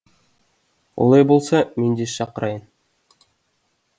олай болса мен де шақырайын